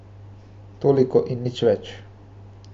Toliko in nič več.